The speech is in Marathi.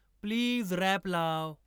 प्लीज रॅप लाव